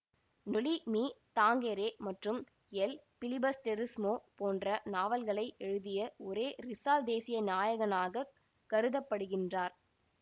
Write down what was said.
நொலி மீ தாங்கெரே மற்றும் எல் பிலிபஸ்டெரிஸ்மோ போன்ற நாவல்களை எழுதிய ஒசே ரிசால் தேசிய நாயகனாகக் கருத படுகின்றார்